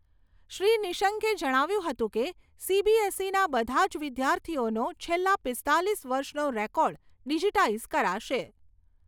શ્રી નિશંકે જણાવ્યું હતું કે, સીબીએસઈના બધા જ વિદ્યાર્થીઓનો છેલ્લા પીસ્તાલીસ વર્ષનો રેકોર્ડ ડિજીટાઇઝ કરાશે.